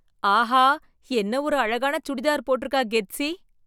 ஆஹா, என்ன ஒரு அழகான சுடிதார் போட்டுருக்கா கெத்ஸி!